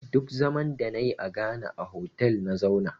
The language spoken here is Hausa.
Duk zaman da na yi a Ghana a hotal na zauna